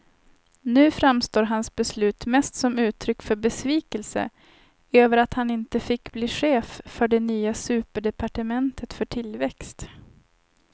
Nu framstår hans beslut mest som uttryck för besvikelse över att han inte fick bli chef för det nya superdepartementet för tillväxt.